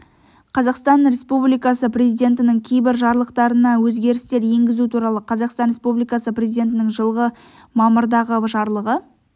қазақстан республикасы президентінің кейбір жарлықтарына өзгерістер енгізу туралы қазақстан республикасы президентінің жылғы мамырдағы жарлығы